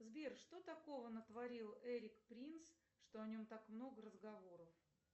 сбер что такого натворил эрик принц что о нем так много разговоров